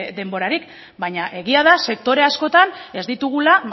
denborarik baina egia da sektore askotan ez ditugula